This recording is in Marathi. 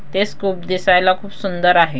ते दिसायला खूप सुंदर आहे.